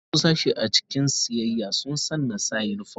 Wasu sashe a cikin siyayya sun sanna sa unifom.